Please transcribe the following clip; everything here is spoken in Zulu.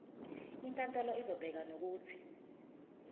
inkantolo izobeka nokuthi